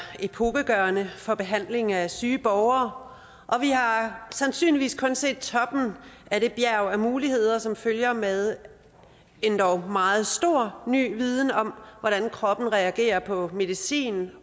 epokegørende for behandling af syge borgere og vi har sandsynligvis kun set toppen af det bjerg af muligheder som følger med endog meget stor ny viden om hvordan kroppen reagerer på medicin